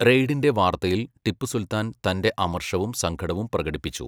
റെയ്ഡിൻ്റെ വാർത്തയിൽ ടിപ്പു സുൽത്താൻ തൻ്റെ അമർഷവും സങ്കടവും പ്രകടിപ്പിച്ചു.